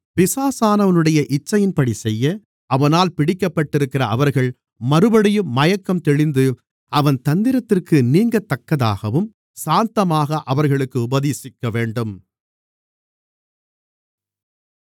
பிசாசானவனுடைய இச்சையின்படி செய்ய அவனால் பிடிக்கப்பட்டிருக்கிற அவர்கள் மறுபடியும் மயக்கம் தெளிந்து அவன் தந்திரத்திற்கு நீங்கத்தக்கதாகவும் சாந்தமாக அவர்களுக்கு உபதேசிக்கவேண்டும்